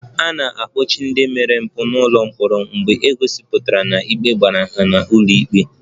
A na-ekpochi ndị omempụ n'ụlọ mkpọrọ mgbe e gosipụtara na ikpe mara ha n'ụlọ ikpe